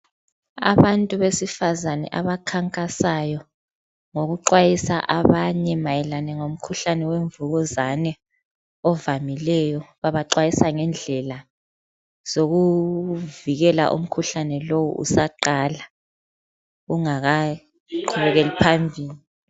Abantu besifazane abakhankasayo ngokuxwayisa mayelana ngomkhuhlani wemvukuzani ovamileyo. Babaxwayisa ngendlela zokuvikela umkhuhlane lowu usaqala ungakaqhubekeli phambili.